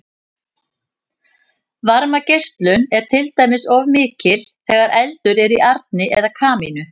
varmageislun er til dæmis oft mikil þegar eldur er í arni eða kamínu